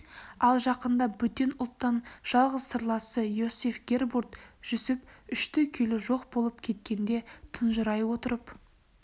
ал жақында бөтен ұлттан жалғыз сырласы иосиф гербурт жүсіп үшті күйлі жоқ болып кеткенде тұнжырай отырып